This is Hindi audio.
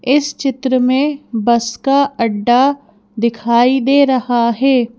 इस चित्र में बस का अड्डा दिखाई दे रहा है।